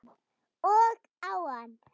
Og á hann.